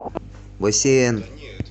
бассейн